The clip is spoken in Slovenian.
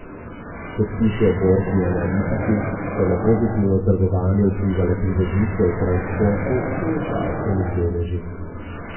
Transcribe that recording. Kot pišejo borzni analitiki, so na pozitivno trgovanje vplivale pridobitve v transportnih in zdravstvenih deležih.